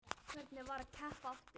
Hvernig var að keppa aftur?